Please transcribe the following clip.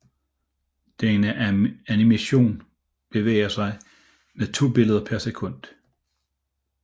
Denne animation bevæger sig med to billeder per sekund